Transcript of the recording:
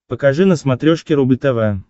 покажи на смотрешке рубль тв